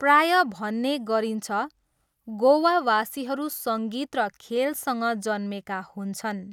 प्रायः भन्ने गरिन्छ, 'गोवावासीहरू सङ्गीत र खेलसँग जन्मेका हुन्छन्'।